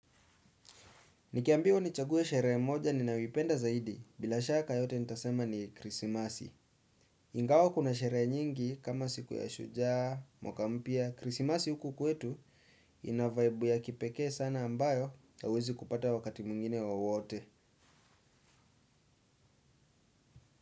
Nikiambiwa nichague sherehe moja ninayoipenda zaidi bila shaka yote nitasema ni krisimasi. Ingawa kuna sherehe nyingi kama siku ya shujaa, mwaka mpya, krisimasi huku kwetu ina vaibu ya kipekee sana ambayo hauwezi kupata wakati mwingine wowote.